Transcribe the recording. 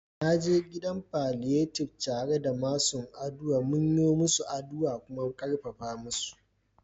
Na je gidan palliative care da masun aduwa, mun yo musu aduwa da kuma karfafa su.